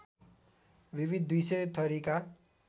विविध २०० थरिका